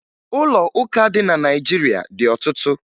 Ụlọ ụka dị na Naịjirịa dị ọtụtụ